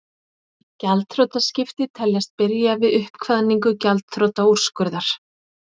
Gjaldþrotaskipti teljast byrja við uppkvaðningu gjaldþrotaúrskurðar.